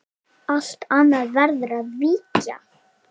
Allt annað verður að víkja.